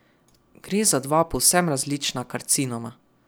Gre za dva povsem različna karcinoma.